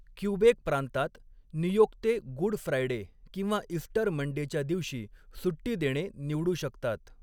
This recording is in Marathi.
क्यूबेक प्रांतात, नियोक्ते गुड फ्रायडे किंवा इस्टर मंडेच्या दिवशी सुट्टी देणे निवडू शकतात.